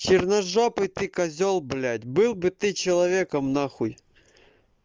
черножопые ты козёл блядь был бы ты человеком нахуй